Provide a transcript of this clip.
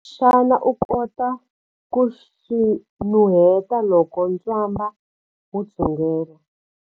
Xana u kota ku swi nuheta loko ntswamba wu dzungela?